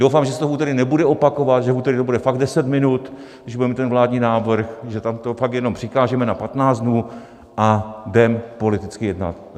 Doufám, že se to v úterý nebude opakovat, že v úterý to bude fakt 10 minut, když budeme mít ten vládní návrh, že tam to fakt jenom přikážeme na 15 dnů a jdeme politicky jednat.